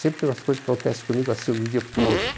Sempre as coisas que acontecem comigo, assim, de um dia para o outro.